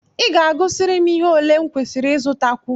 I ga-agụsịrị m ihe ole m kwesịrị ịzụtakwu?